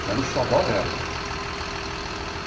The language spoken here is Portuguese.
Que era o xodó dela.